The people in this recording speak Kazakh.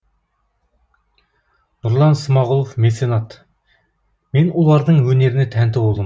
нұрлан смағұлов меценат мен олардың өнеріне тәнті болдым